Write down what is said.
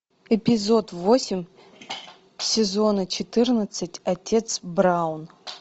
эпизод восемь сезона четырнадцать отец браун